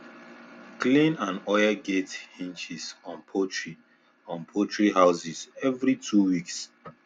clean and oil gate hinges on poultry on poultry house every two weeks